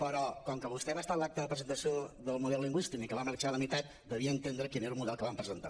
però com que vostè va estar a l’acte de presentació del model lingüístic i va marxar a la meitat devia entendre quin era el model que vam presentar